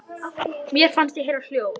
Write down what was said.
Mér fannst ég heyra hljóð.